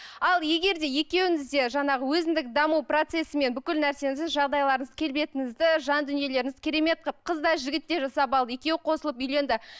ал егер де екеуіңіз де жаңағы өзіндік даму процесімен бүкіл нәрсеңізді жағдайларыңызды келбетіңізді жан дүниелеріңізді керемет қылып қыз да жігіт те жасап алды екеуі қосылып үйленді